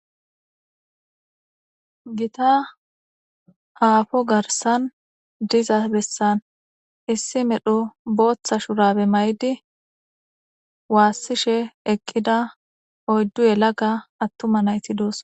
Gita haafo garsan diza bessan issi medho booththa shurabe may'idi waassishe eqqida oyddu yelaga attuma nayti doos